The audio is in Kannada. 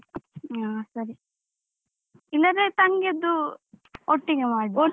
ಹ ಸರಿ. ಇಲ್ಲದ್ರೆ ತಂಗಿಯದ್ದು ಒಟ್ಟಿಗೆ ಮಾಡುವ.